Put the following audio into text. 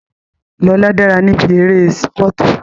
Lóla dára níbi eré sípọ̀tù